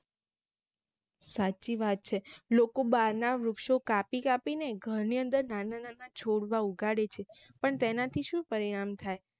સાચી વાત છે લોકો બાર ના વૃક્ષો કાપી કાપી ને ઘર ની અંદર નાના નાના છોડવા ઉગાડે છે પણ તેનાથી શું પરિણામ થાય